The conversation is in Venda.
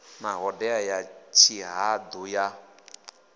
na ṱhodea ya tshihaḓu ya